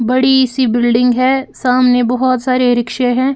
बड़ी सी बिल्डिंग है सामने बहुत सारे रिक्शे हैं।